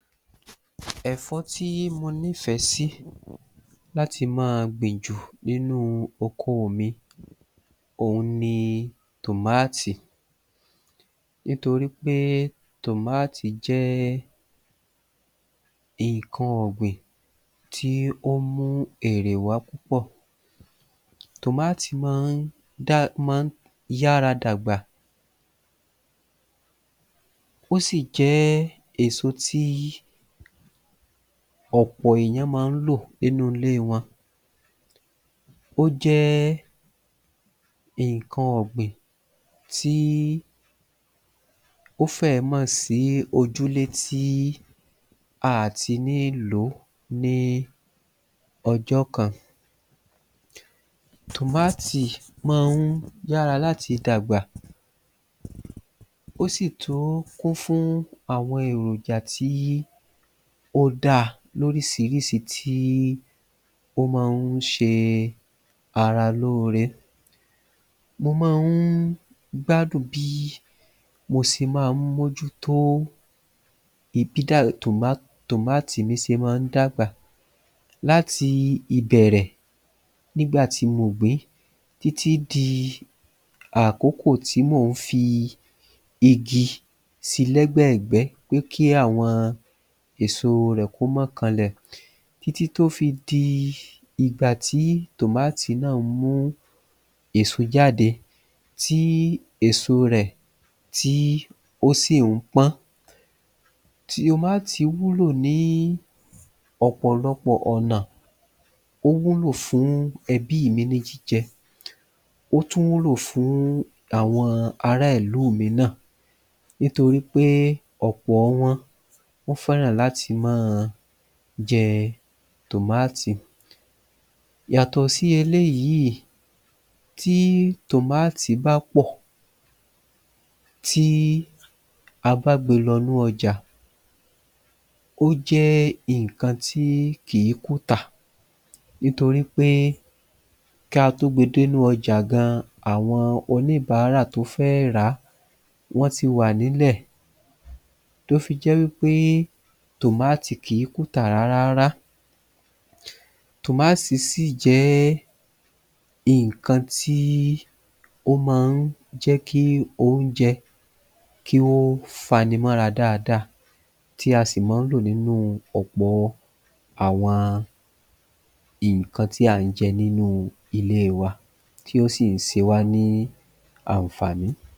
Ẹ̀fọ́ tí mo nífẹ̀ẹ́ sí láti máa gbìn jù nínú okoò mi ohun ni tòmáàtì nítorí pé tòmáàtì jẹ́ nǹkan ọ̀gbìn tí ó mú èrè wá púpọ̀ Tòmáàtì ma ń dá má a ń yára dàgbà ó sì jẹ́ èso tí ọ̀pọ̀ èèyàn má ń lò nínú ilée wọn ó jẹ́ nǹkan ọ̀gbìn tí ó fẹ́ẹ̀ má sìí ojúlé tí a à ti ní lòó ní ọjọ́ kan Tòmáàtì ma ń yára láti dàgbà ó sì tún kún fún àwọn èròjà tí ó dáa lóríṣiríṣi tí ó má ń ṣe ara lóore Mo má a ń gbádùn bí mo ṣe má ń mójútó ìbí bí tòmáàtì mí ṣe má ń dàgbà láti ìbẹ̀rẹ̀ nígbà tí mo gbìn-ín títí di àkókò tí mò ń fi igi si lẹ́gbẹ̀gbẹ́ pé kí àwọn èso rẹ̀ kó má kanlẹ̀ títí tí tó fi di ìgbà tí tòmáàtì náà ń mú èso jáde tí èso rẹ̀ tí ó sì ń pọ́n Tòmáàtì wúlò ní ọ̀pọ̀lọpọ̀ ọ̀nà ó wúlò fún ẹbíì mi ní jíjẹ ó tún wúlò fún àwọn ará ìlúù mi náà nítorí pé ọ̀pọ̀ọ wọn wọ́n fẹ́ràn láti máa jẹ tòmáàtì Yàtọ̀ sí eléyìí tí tòmáàtì bá pọ̀ tí a bá gbe lọnú ọjà ó jẹ́ nǹkan tí kìí kùtà nítorí pé kí a tó gbe dénú ọjà gan àwọn oníbàárà tó fẹ́ rà á wọ́n ti wà nílẹ̀ tó fi jẹ́ wí pé tòmáàtì kìí kùtà rárárá Tòmáàtì sì jẹ́ nǹkan tí ó ma ń jẹ́ kí oúnjẹ kí ó fa ni mọ́ra dáadáa tí a sì má ń lò nínú ọ̀pọ àwọn nǹkan tí à ń jẹ nínúu ilée wa tí ó sìn ṣe wá ní ànfàní